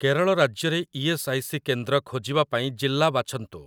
କେରଳ ରାଜ୍ୟରେ E S. I. C. କେନ୍ଦ୍ର ଖୋଜିବା ପାଇଁ ଜିଲ୍ଲା ବାଛନ୍ତୁ ।